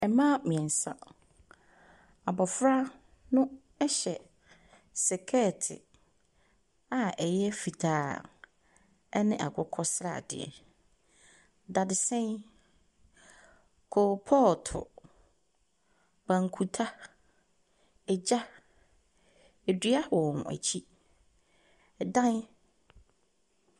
Ɛmaa mmeɛnsa, abɔfra no ɛhyɛ sekɛɛt a ɛyɛ fitaa ɛne akokɔ sradeɛ. Dadesɛn, koopɔto, banku ta, egya, edua wɔ wɔn akyi. Ɛdan.